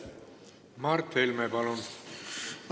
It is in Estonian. Mart Helme, palun!